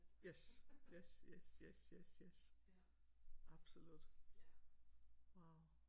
Yes yes yes yes yes yes absolut meget